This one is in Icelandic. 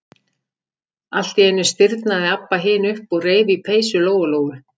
Allt í einu stirðnaði Abba hin upp og reif í peysu Lóu-Lóu.